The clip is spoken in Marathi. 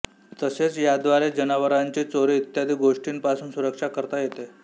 तसेच याद्वारे जनावरांची चोरी इत्यादी गोष्टींपासून सुरक्षा करता येते